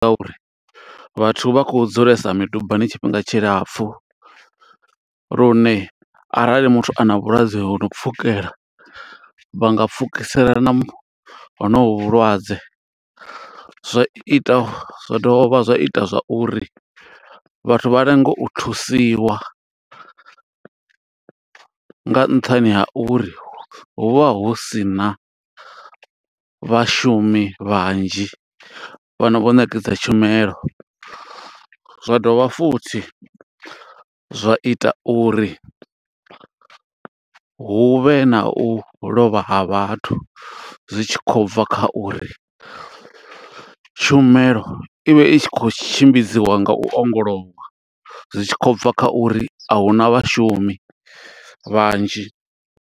Nga uri vhathu vha khou dzulesa midubani tshifhinga tshilapfu, lune arali muthu ana vhulwadze ho no pfukela, vha nga pfukiselana honovhu vhulwadze. Zwa ita, zwa dovha zwa ita zwa uri, vhathu vha lenge u thusiwa nga nṱhani ha uri hu vha hu sina vhashumi vhanzhi, fhano vho ṋekedza tshumelo. Zwa dovha futhi zwa ita uri huvhe na u lovha ha vhathu, zwi tshi khou bva kha uri tshumelo i vha i tshi khou tshimbidziwa nga u ongolowa. Zwi tshi khou bva kha uri ahuna vhashumi vhanzhi.